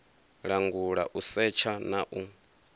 langula u setsha na u